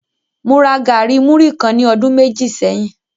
Mo ra gari muri kan ní ọdun méjì sẹ́yìn.